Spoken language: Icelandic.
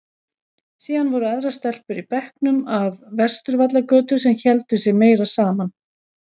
Síðan voru aðrar stelpur í bekknum af Vesturvallagötu sem héldu sig meira saman.